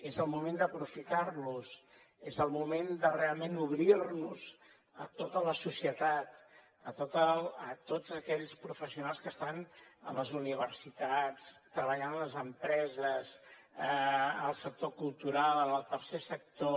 és el moment d’aprofitar los és el moment de realment obrirnos a tota la societat a tots aquells professionals que estan a les universitats treballant a les empreses en el sector cultural en el tercer sector